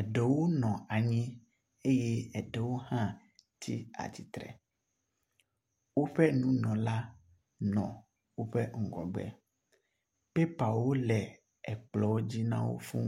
Eɖewo nɔ anyi eye eɖewo hã tsi atsitre. Woƒe nunɔla nɔ woƒe ŋgɔgbe. Pɛpawo le ekplɔwo dzi na wo fũu.